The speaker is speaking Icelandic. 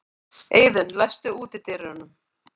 Eiðunn, læstu útidyrunum.